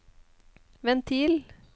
ventil